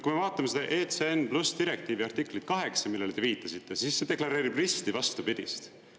Kui me vaatame seda ECN+ direktiivi artiklit 8, millele te viitasite, siis see deklareerib risti vastupidist.